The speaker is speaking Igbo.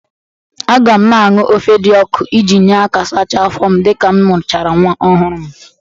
Agam na-aṅụ ofe dị ọkụ iji nye aka sacha afọ m dịka m mụchara nwa ọhụrụ m.